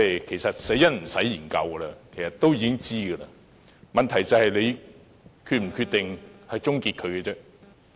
其實，死因已無需研究，因為大家都知道，問題是政府是否決定終結數碼廣播而已。